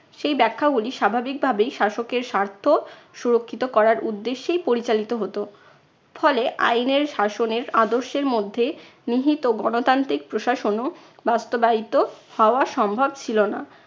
সেই ব্যাখ্যাগুলি স্বাভাবিক ভাবেই শাসকের স্বার্থ সুরক্ষিত করার উদ্দেশ্যেই পরিচালিত হতো। ফলে আইনের শাসনের আদর্শের মধ্যে নিহিত গণতান্ত্রিক প্রশাসনও বাস্তবায়িত হওয়া সম্ভব ছিল না।